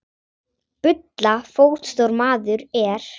Bulla fótstór maður er.